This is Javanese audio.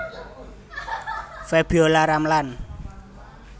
Febiolla Ramlan